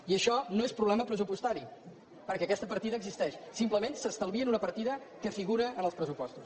i això no és problema pressupostari perquè aquesta partida existeix simplement s’estalvien una partida que figura en els pressupostos